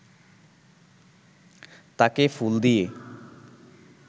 তাকে ফুল দিয়ে